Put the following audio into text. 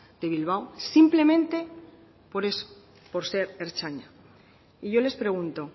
de bilbao simplemente por eso por ser ertzaina y yo les pregunto